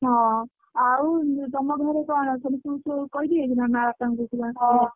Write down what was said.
ହଁ ଆଉ ତମ ଘରେ କଣ ମା ବାପା ଙ୍କୁ ସବୁ